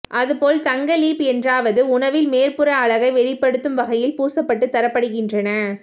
அதுபோல் தங்க லீப் என்றவாறு உணவில் மேற்புற அழகை வெளிப்படுத்தும் வகையில் பூசப்பட்டு தரப்படுகின்றன